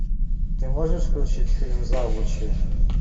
ты можешь включить фильм завучи